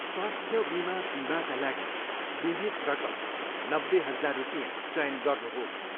स्वास्थ्य बिमा बिमाका लागि बिमित रकम नब्बे हजार रुपियाँ चयन गर्नुहोस्।